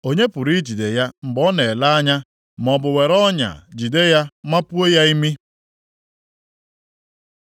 Onye pụrụ ijide ya mgbe ọ na-ele anya, maọbụ were ọnya jide ya mapuo ya imi?